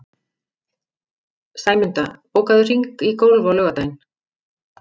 Sæmunda, bókaðu hring í golf á laugardaginn.